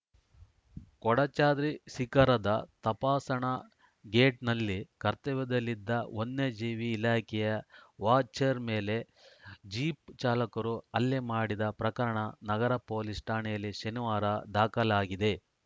ಕೊಡಚಾದ್ರಿ ಶಿಖರದ ತಪಾಸಣಾ ಗೇಟ್‌ನಲ್ಲಿ ಕರ್ತವ್ಯದಲ್ಲಿದ್ದ ವನ್ಯಜೀವಿ ಇಲಾಖೆಯ ವಾಚರ್‌ ಮೇಲೆ ಜೀಪ್‌ ಚಾಲಕರು ಹಲ್ಲೆ ಮಾಡಿದ ಪ್ರಕರಣ ನಗರ ಪೊಲೀಸ್‌ ಠಾಣೆಯಲ್ಲಿ ಶನಿವಾರ ದಾಖಲಾಗಿದೆ